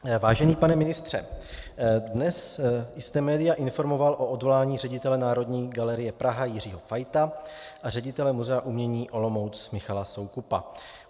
Vážený pane ministře, dnes jste média informoval o odvolání ředitele Národní galerie Praha Jiřího Fajta a ředitele Muzea umění Olomouc Michala Soukupa.